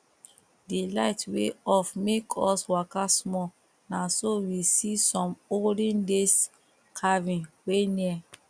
the light wey off make us waka small na so we see some olden days carving wey near